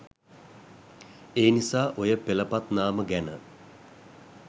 ඒනිසා ඔය පෙලපත් නාම ගැන